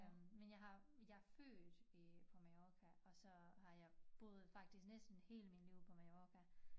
Øh men jeg har jeg født i på Mallorca og så har jeg boet faktisk næsten hele min liv på Mallorca